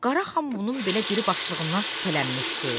Qaraxan bunun belə diribaşlığından şübhələnmişdi.